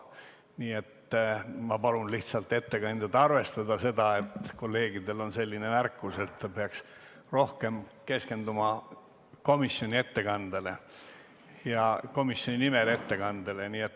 Nii et ma palun lihtsalt ettekandjal arvestada, et kolleegidel on selline märkus, et ta peaks rohkem keskenduma ettekandele komisjoni nimel.